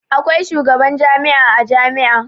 Akwai shugaban jami'a a jami'a.